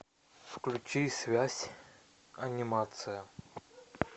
включи связь анимация